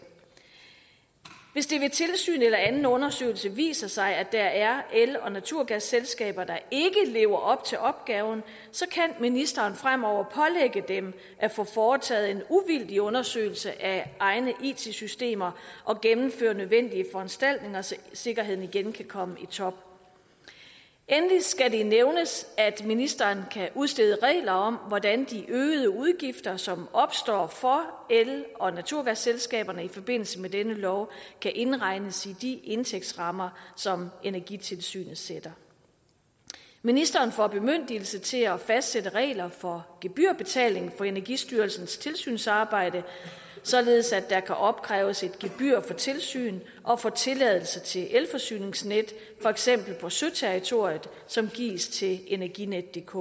hvis det ved tilsyn eller anden undersøgelse viser sig at der er el og naturgasselskaber der ikke lever op til opgaven kan ministeren fremover pålægge dem at få foretaget en uvildig undersøgelse af egne it systemer og gennemføre nødvendige foranstaltninger så sikkerheden igen kan komme i top endelig skal det nævnes at ministeren kan udstede regler om hvordan de øgede udgifter som opstår for el og naturgasselskaberne i forbindelse med denne lov kan indregnes i de indtægtsrammer som energitilsynet sætter ministeren får bemyndigelse til at fastsætte regler for gebyrbetaling for energistyrelsens tilsynsarbejde således at der kan opkræves et gebyr for tilsyn og for tilladelse til elforsyningsnet for eksempel på søterritoriet som gives til energinetdk